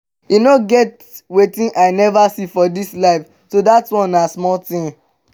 e no get wetin i never see for dis life so dat one na small thing